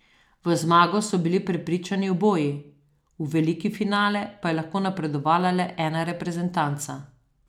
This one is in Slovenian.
V zmago so bili prepričani oboji, v veliki finale pa je lahko napredovala le ena reprezentanca.